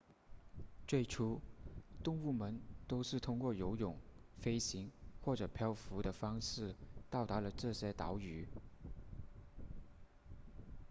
最初动物们都是通过游泳飞行或者漂浮的方式到达了这些岛屿